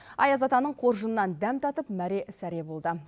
аяз атаның қоржынынан дәм татып мәре сәре болды